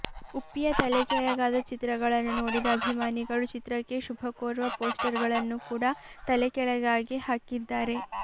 ಉಪ್ಪಿಯ ತಲೆಕೆಳಗಾದ ಚಿತ್ರಗಳನ್ನು ನೋಡಿದ ಅಭಿಮಾನಿಗಳು ಚಿತ್ರಕ್ಕೆ ಶುಭ ಕೋರುವ ಪೋಸ್ಟರಗಳನ್ನು ಕೂಡ ತಲೆ ಕೆಳಗಾಗೆ ಹಾಕಿದ್ದಾರೆ